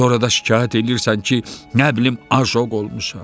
Sonra da şikayət eləyirsən ki, nə bilim, ajok olmuşam.